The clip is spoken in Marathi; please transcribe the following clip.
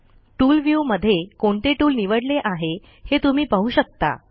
टूल व्ह्यू मध्ये कोणते टूल निवडले आहे हे तुम्ही पाहू शकता